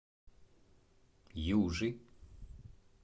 южи